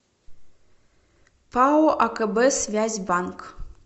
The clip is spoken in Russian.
пао акб связь банк